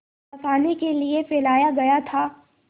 फँसाने के लिए फैलाया गया था